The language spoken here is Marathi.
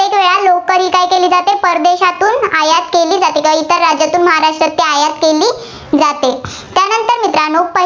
आयात केली जाते. इतर राज्यांतून महाराष्ट्रात आयात केली जाते. त्यानंतर मित्रांनो